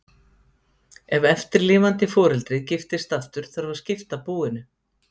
ef eftirlifandi foreldrið giftist aftur þarf að skipta búinu